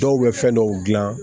Dɔw bɛ fɛn dɔw dilan